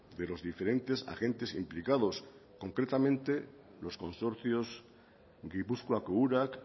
de los diferentes agentes implicados concretamente los consorcios gipuzkoako urak